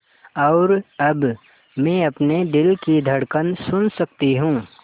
और अब मैं अपने दिल की धड़कन सुन सकती हूँ